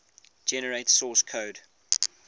generate source code